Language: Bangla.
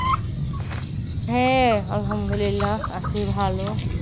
হ্যা আলহামদুল্লা আছি ভালো।